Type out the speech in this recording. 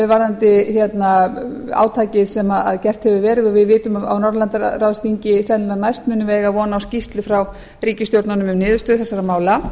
varðandi átakið sem gert hefur verið og við vitum að á norðurlandaráðsþingi sennilega næst munum við eiga von á skýrslu frá ríkisstjórnunum um niðurstöðu þessara mála